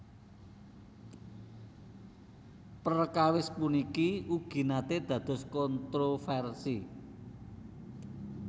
Perkawis puniki ugi naté dados kontrovérsi